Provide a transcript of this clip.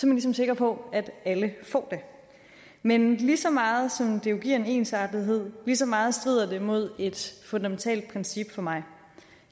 man ligesom sikker på at alle får det men lige så meget som det jo giver en ensartethed lige så meget strider det mod et fundamentalt princip for mig